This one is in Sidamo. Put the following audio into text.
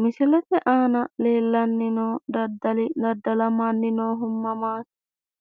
Misilete aana leellanni noo daddalli daddalamanni noohu mamati,